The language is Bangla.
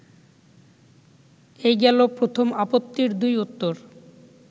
এই গেল প্রথম আপত্তির দুই উত্তর